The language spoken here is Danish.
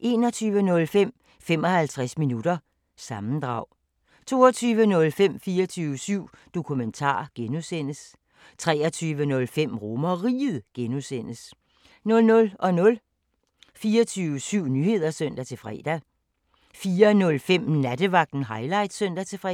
21:05: 55 minutter – sammendrag 22:05: 24syv Dokumentar (G) 23:05: RomerRiget (G) 00:00: 24syv Nyheder (søn-fre) 04:05: Nattevagten Highlights (søn-fre)